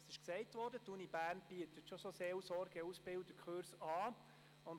Wie erwähnt wurde, bietet die Universität Bern bereits Kurse für Seelsorge-Ausbildner an.